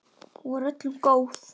Hún var öllum góð.